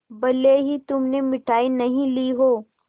भले ही तुमने मिठाई नहीं ली हो